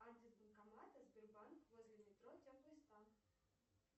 адрес банкомата сбербанк возле метро теплый стан